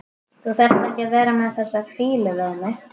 Þú þarft ekki að vera með þessa fýlu við mig.